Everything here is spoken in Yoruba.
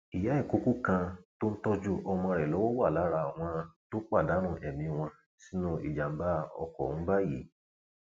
ìyá ìkọkọ kan tó tó ń tọjú ọmọ lọwọ wà lára àwọn tó pàdánù ẹmí wọn sínú ìjàmbá ọkọ ọhún báyìí